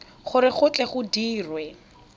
gore go tle go dirwe